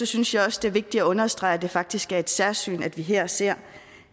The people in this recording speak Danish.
synes jeg også det er vigtigt at understrege at det faktisk er et særsyn når vi her ser